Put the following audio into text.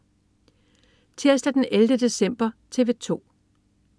Tirsdag den 11. december - TV 2: